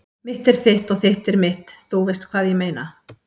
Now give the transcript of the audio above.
Mitt er þitt og þitt er mitt- þú veist hvað ég meina.